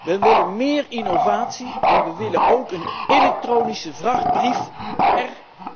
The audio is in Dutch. Wij willen meer innovatie en we willen ook een elektronische vrachtbrief per